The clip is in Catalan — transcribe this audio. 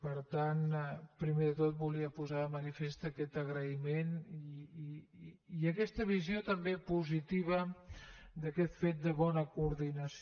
per tant primer de tot volia posar de manifest aquest agraïment i aquesta visió també positiva d’aquest fet de bona coordinació